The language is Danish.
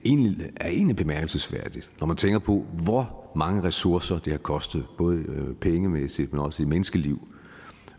er egentlig bemærkelsesværdigt når man tænker på hvor mange ressourcer det har kostet både pengemæssigt men også i menneskeliv